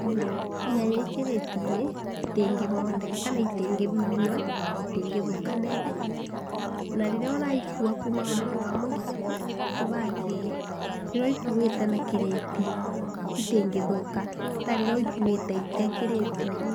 tondũ nyanya ciĩ kirĩti-inĩ itingĩmondeka kana itingĩbibinywa na itingĩthũka naibenya. Na rĩrĩa ũracikua kuma bandũ bamwe nginya bandũ bange, rĩrĩa ũcikuĩte na kirĩti itingĩthũka ta rĩrĩa ũcikuĩte itarĩ kĩrĩti-inĩ.